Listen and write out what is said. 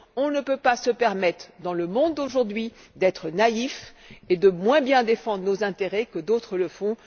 Nous ne pouvons pas nous permettre, dans le monde d'aujourd'hui, d'être naïfs et de moins bien défendre nos intérêts que d'autres le font.